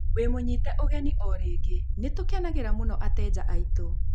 Wimũnyite ũgeni O rĩngĩ. Nĩ tũkenagĩra mũno ateja aitũ.